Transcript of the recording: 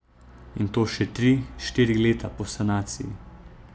In to še tri, štiri leta po sanaciji.